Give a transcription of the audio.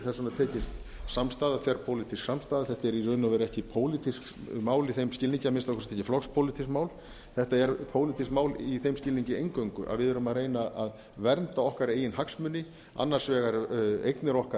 vegna tekist samstaða þverpólitísk samstaða þetta er í rauninni ekki pólitískt mál í þeim skilningi að minnsta kosti ekki flokkspólitískt mál þetta er pólitískt mál í þeim skilningi eingöngu að við erum að reyna að vernda okkar eigin hagsmuni annars vegar eignir okkar